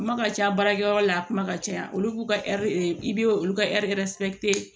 Kuma ka ca baarakɛyɔrɔ la a kuma ka ca olu k'u ka i be olu ka